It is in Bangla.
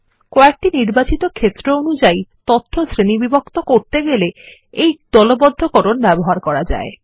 কয়েকটি নির্বাচিত ক্ষেত্র অনুযায়ীতথ্য শ্রেণীবিভক্ত করতে গেলে এই দলবদ্ধকরণ ব্যবহার করা যায়